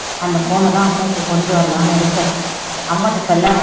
அந்த phone அ தான் அம்மாக்கு கொண்டு வரலாம்னு இருக்கேன், அம்மாட்ட சொல்லாத